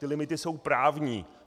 Ty limity jsou právní.